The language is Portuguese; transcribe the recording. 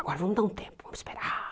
Agora vamos dar um tempo, vamos esperar.